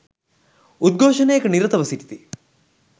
උද්ඝෝෂණයක නිරතව සිටිති